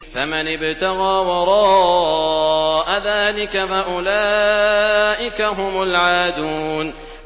فَمَنِ ابْتَغَىٰ وَرَاءَ ذَٰلِكَ فَأُولَٰئِكَ هُمُ الْعَادُونَ